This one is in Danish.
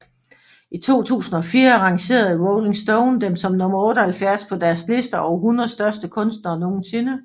I 2004 rangerede Rolling Stone dem som nummer 78 på deres liste over 100 største kunstnere nogensinde